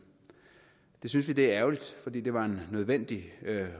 det synes vi er ærgerligt fordi det var en nødvendig